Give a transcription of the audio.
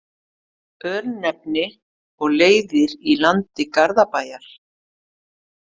Örnefni og leiðir í landi Garðabæjar.